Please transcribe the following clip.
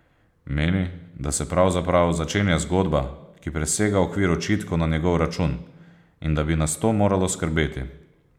Meni, da se pravzaprav začenja zgodba, ki presega okvir očitkov na njegov račun, in da bi nas to moralo skrbeti.